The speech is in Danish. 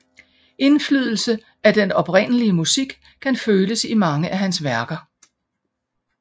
Indflydelse af den oprindelige musik kan føles i mange af hans værker